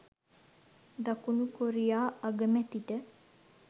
දකුණු කොරියා අගමැතිට